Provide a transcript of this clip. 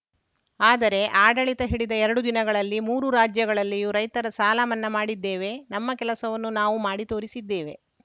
ಆದರೆ ಆಡಳಿತ ಹಿಡಿದ ಎರಡು ದಿನಗಳಲ್ಲಿ ಮೂರು ರಾಜ್ಯಗಳಲ್ಲಿಯೂ ರೈತರ ಸಾಲಮನ್ನಾ ಮಾಡಿದ್ದೇವೆ ನಮ್ಮ ಕೆಲಸವನ್ನು ನಾವು ಮಾಡಿ ತೋರಿಸಿದ್ದೇವೆ